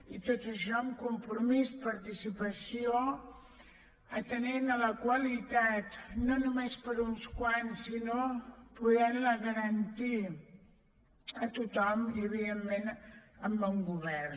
i tot això amb compromís participació atenent la qualitat no només per a uns quants sinó podent la garantir a tothom i evidentment amb bon govern